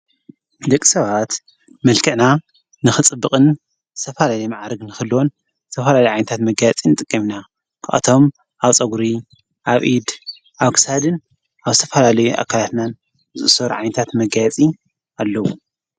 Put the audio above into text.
ደቅ ሰባት መልክዕና ንክፅብቕን ዝተፈላለየ መዓርግ ንኽህልዎን ዝተፈላለየ ዓይነታት መገያየጺ ንጥቀም ኢና። ካብኣቶም ኣብ ፀጕሪ ኣብ ኢድ አብ ክሳድን ኣብ ዝተፈላለየ ኣካላትናን ዝእሰሩ ዓይነታት መጋያየፂ ኣለዉ።